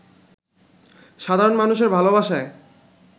সাধারণ মানুষের ভালোবাসায়